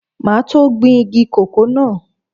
Máa tó gbin igi kòkó náà.